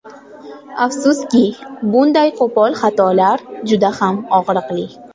Afsuski, bunday qo‘pol xatolar juda ham og‘riqli.